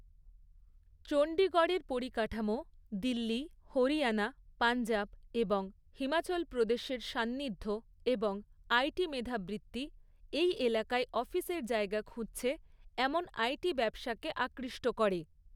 চণ্ডীগড়ের পরিকাঠামো, দিল্লি, হরিয়ানা, পঞ্জাব এবং হিমাচল প্রদেশের সান্নিধ্য এবং আই.টি মেধাবৃত্তি, এই এলাকায় অফিসের জায়গা খুঁজছে এমন আই.টি ব্যবসাকে আকৃষ্ট করে।